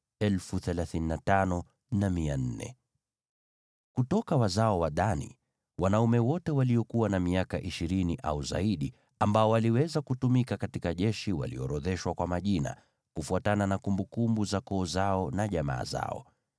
Kutoka wazao wa Dani: Wanaume wote waliokuwa na miaka ishirini au zaidi ambao waliweza kutumika katika jeshi waliorodheshwa kwa majina, kufuatana na kumbukumbu za koo zao na jamaa zao.